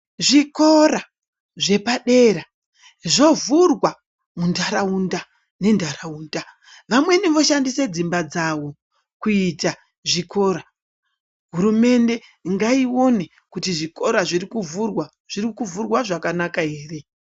Zvikora zvepadera zvovhirwa muntaraunda nentaraunda vamweni voshandise dzimba dzawo kuita zvikora hurumende ngaione kuti zvikora zviri kuvhurwa zviri kuvhurwa zvakanaka ere. .